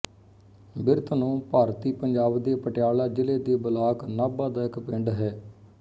ਬਿਰਧਨੋ ਭਾਰਤੀ ਪੰਜਾਬ ਦੇ ਪਟਿਆਲਾ ਜ਼ਿਲ੍ਹੇ ਦੇ ਬਲਾਕ ਨਾਭਾ ਦਾ ਇੱਕ ਪਿੰਡ ਹੈ